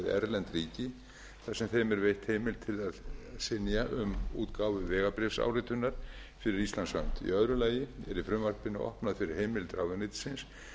erlend ríki þar sem þeim er veitt heimild til þess að synja um útgáfu vegabréfsáritunar fyrir íslands hönd í öðru lagi er í frumvarpinu opnað fyrir heimild ráðuneytisins